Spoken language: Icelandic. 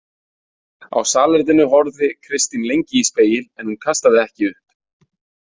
Á salerninu horfði Kristín lengi í spegil en hún kastaði ekki upp.